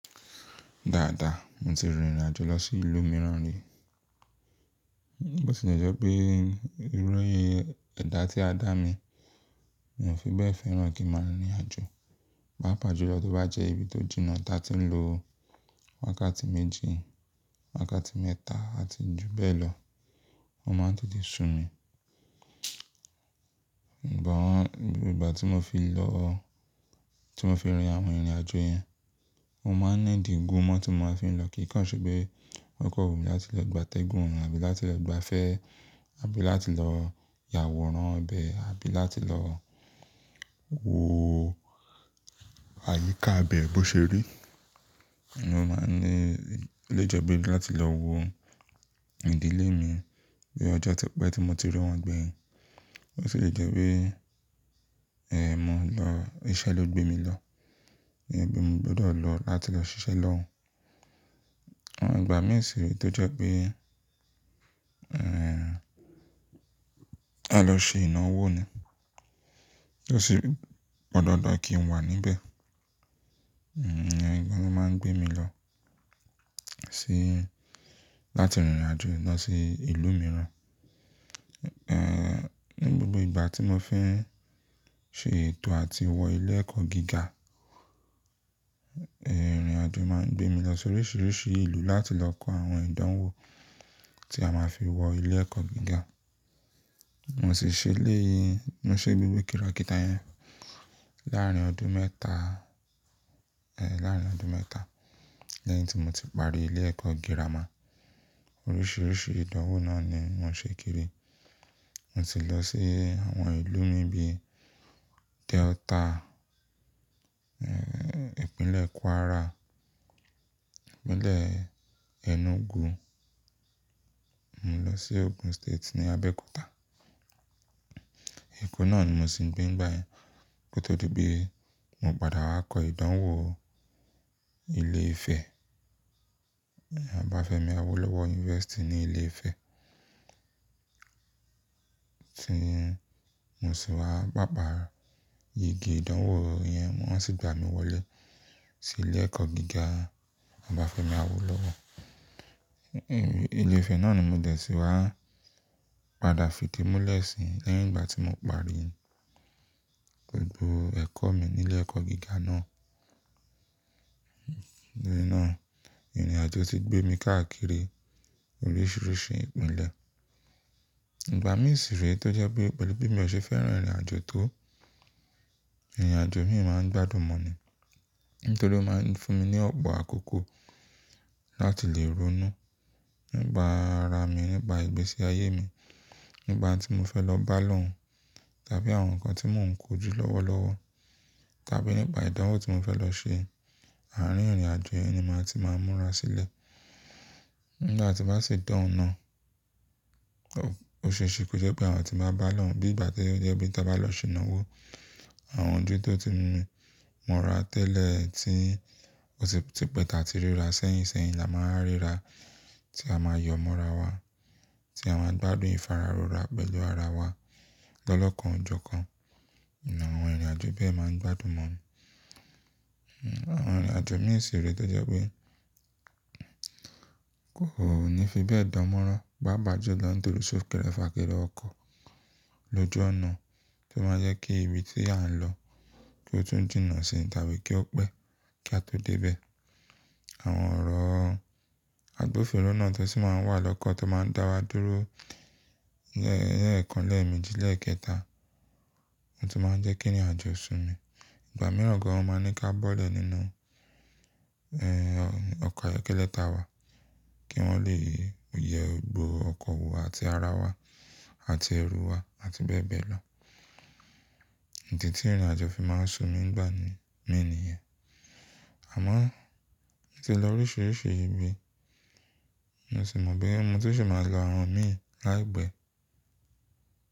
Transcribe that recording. Dáadáa, mo ti rìnrìn àjò lọ sí ìlú mìíràn rí. Bó ti jẹ́ pé irú ẹ̀dá tí a dá mi, mi ò fi bẹ́ẹ̀ fẹ́ràn kí n máa rìnrìn àjò. Bá pàjúlọ tó bá jẹ́ ibi tó jìnnà táa ti ń lo wákàtí méjì, wákàtí mẹ́ta àti jù bẹ́ẹ̀ lọ, wọ́n máa ń tètè sun mi. Ǹbọ̀ wọn, nígbà tí mo fi lọ, tí mo fi awon irin àwọn ìrìnàjò yẹn, mo máa ńeedi ogún mọ́ tí mo máa fi ń lọ kíkan Ṣèpé okọ̀ wùnmí láti lọ gba tẹ́gùn àbí láti lọ gba fẹ́, àbí láti lọ yàwòrán ọbẹ̀, àbí láti lọ wo àyíká ibẹ́ bó ṣe rí. Mo máa ń ní olejẹ́ gbé láti lọ wo ìdílé mi bí ọjọ́ ti pẹ́ tí mo ti rí wọn gbẹ̀yìn. Ó sì lè jẹ́ wípé è mọ lọ iṣẹ́ ló gbé mi lọ. Ǹbí mo gbọdọ̀ lọ láti lọ ṣiṣẹ́ lọ́hun. Àwọn ìgbà mìí sì rí i tó jẹ́ pé, a lọ ṣe ìnáwó ni. Ó sì gbọ́dọ̀ dá kí n wà níbẹ̀. Ǹbí wọ́n máa ń gbé mi lọ sí láti rìnrìn àjò lọ sí ìlú mìíràn. Ni gbogbo ìgbà tí mo fi ń ṣe ètò àti wọ ilé ẹ̀kọ́ gíga, ìrìnàjò máa ń gbé mi lọ si oríṣiríṣi ìlú láti lọ kọ àwọn ìdánwò tí a máa fi wọ ilé ẹ̀kọ́ gíga. Mo sì ṣe léyi, mo ṣe gbogbo kìrákítà yẹn láàárín ọdún mẹ́ta e láàárín ọdún mẹ́ta lẹ́yìn tí mo ti parí ilé ẹ̀kọ́ gírámà. Oríṣiríṣi ìdánwò náà ni mo ṣe kiri. Mo ti lọ sí àwọn ìlú mi bi Delta, ìpínlẹ̀ Kwara, ìpínlẹ̀ Enugu. Mo lọ sí Ogun State ní Abẹ́òkúta. Eko náà ni mo sì ń gbé nígbà yẹn kó tó di pé mo padà wá kọ ìdánwò ilé ìfẹ́. Ọba Fẹ́mi Awólọ́wọ̀ University ní Ilé Ifẹ̀. Tí mo sì wá pàpa igi ìdánwò yẹn wọ́n sì gba mi wọlé sí ilé ẹ̀kọ́ gíga Ọba Fẹ́mi Awólọ́wọ̀. Ilé Ifẹ̀ náà ni mo dẹ̀ sí wá padà fi idi múlẹ̀ sí lẹ́yìn ìgbà tí mo parí gbogbo ẹ̀kọ́ mi ní ilé ẹ̀kọ́ gíga náà. Í náà, ìrìnàjò ti gbé mi káàkiri oríṣiríṣi ìpínlẹ̀. Ìgbà mìí sì rí i tó jẹ́ pé pẹ̀lú bí mo ṣe fẹ́ràn ìrìnàjò tó, ìrìnàjò mi máa ń gbádùn mọ́ ni. Nítorí ó máa ń fún mi ní ọgbà àkókò láti lè ronú nígbà ara mi, nígbà ìgbésí ayé mi, nígbà tí mo fẹ́ lọ bá lóhun tàbí àwọn nǹkan tí mò ń kó ju lọ́wọ́lọ́wọ́ tàbí nígbà ìdánwò tí mo fẹ́ lọ ṣe, àárín ìrìnàjò yẹn ni màá ti máa múra sílẹ̀. Nígbà tí bá sì de òun naa, o ṣe ṣe kó jẹ́ pé àwọn tí máa bá lóhun bí ìgbà tí ó jẹ́ bí tí a bá lọ ṣe ìnáwó. Àwọn ojú tó ti ń mú wá tẹ́lẹ̀ tí ó sì ti pẹ́ta ti ríra sẹ́yìn sẹ́yìn la máa ń ríra tí a máa yọ múra wá, tí a máa gbádùn ìfararura pẹ̀lú ara wa lọ́lọkan ọjọ́ kan. Àwọn ìrìnàjò bẹ́ẹ̀ máa ń gbádùn mọ́ ni. Àwọn ìrìnàjò mìí sì rí i tó jẹ́ pé kò ní fi bẹ́ẹ̀ dánmọ́rán pá pàjúlọ nítorí sókèrefa kèrè ọkọ̀ lójú ọ̀nà tó máa ń jẹ́ kí ibi tí à ń lọ kí ó tún jìnà sí i tàbí kí ó pẹ́ kí a tó dé ibẹ̀. Àwọn ọ̀rọ̀ àgbófiro náà tó sì máa ń wà lọ́kọ̀ tó máa ń dá wa dúró lẹ́ẹ̀kan, lẹ́ẹ̀meji, lẹ́ẹ̀kẹta n tó máa ń jẹ́ kí ìrìnàjò sun mi. Ìgbà mìíràn gan wọ́n máa ń ní ká bọ́lẹ̀ nínú e ọkọ̀ ayọ́kẹ́lẹ́ ta wà kí wọ́n lè yẹ gbogbo ọkọ̀ wò àti ara wà àti ẹrù wà àti bẹ́ẹ̀ bẹ́ẹ̀ lọ. Ìdí tí ìrìnàjò fi máa ń su mi nigbà mí ni ìyẹn. Àmọ́ mo ti lọ oríṣiríṣi ibi, mo sì mọ̀ boya mo ti ṣi máa lọ àwọn mìí láìpẹ́.